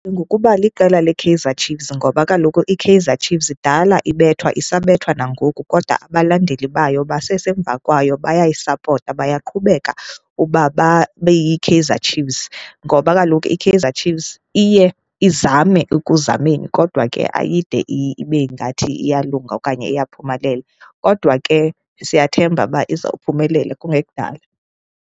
Ngokuba liqela leKaizer Chiefs ngoba kaloku iKaizer Chiefs kudala ibethwa, isabethwa nangoku kodwa abalandeli bayo basesemva kwayo, bayayisapotha. Bayaqhubeka uba babe yiKaizer Chiefs, ngoba kaloku iKaizer Chiefs iye izame ekuzameni, kodwa ke ayide ibe ngathi iyalunga okanye iyaphumelela. Kodwa ke siyathemba uba iza kuphumelela kungekudala.